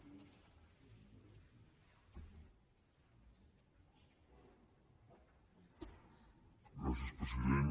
gràcies president